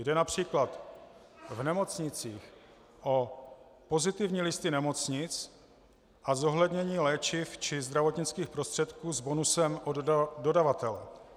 Jde například v nemocnicích o pozitivní listy nemocnic a zohlednění léčiv či zdravotnických prostředků s bonusem od dodavatele.